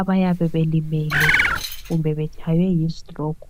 abayabe belimele kumbe betshaywe yistroke.